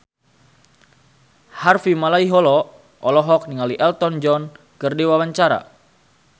Harvey Malaiholo olohok ningali Elton John keur diwawancara